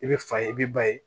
I bɛ fa ye i be ba ye